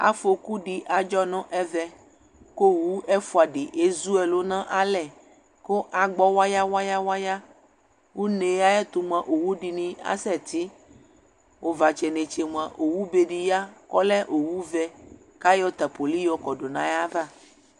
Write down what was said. Afoku dɩ adzɔ nʋ ɛvɛ, kʋ owu ɛfʋa dɩ ezu ɛlʋ nʋ alɛ, kʋ agbɔ waya-waya-waya, une yɛ ayʋ ɛtʋ mʋa, owu dɩnɩ asɛtɩ, ʋvatsɛ netse mʋa, owu be dɩ ya kʋ ɔlɛ owu vɛ, kʋ ayɔ tapoli yɔkɔdʋ nʋ ayava